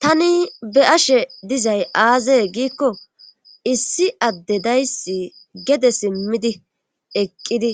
Tani be ashe dizay aazee giikko issi adde dayssi gede simmidi eqqidi